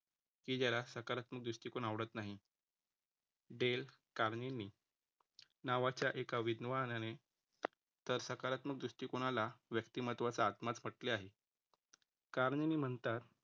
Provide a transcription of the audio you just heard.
की ज्याला सकारात्म दृष्टिकोन आवडत नाही. डेल कारणींनी नावाच्या एका विद्वानाने तर सकारात्मक दृष्टिकोनाला व्यक्तिमत्त्वाचा आत्माच म्हटले आहे. कारण मी म्हणता